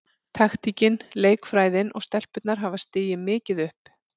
Taktíkin, leikfræðin og stelpurnar hafa stigið mikið upp.